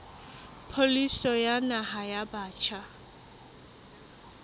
pholisi ya naha ya batjha